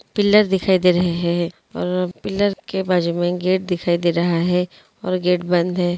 Pillar दिखाई दे रहे हैं और पिअर के बाजु मैं गेट दिखाई दे रहा हैं और गेट बांध हैं।